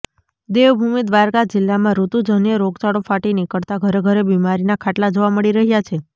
દેવભૂમિ દ્વારકા જિલ્લામાં ઋતુજન્ય રોગચાળો ફાટી નિકળતા ઘરે ઘરે બિમારીના ખાટલા જોવા મળી રહ્યા છે